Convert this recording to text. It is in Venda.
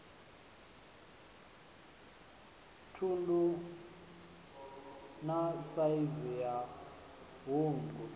ṱhungu na saizi ya hungu